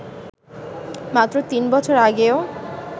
মাত্র তিন বছর আগেও